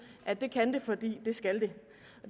at det kan det fordi det skal det